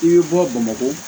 I bɛ bɔ bamakɔ